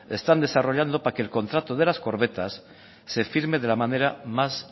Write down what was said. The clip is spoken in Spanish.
están desarrollando para que el contrato de las corbetas se firme de la manera más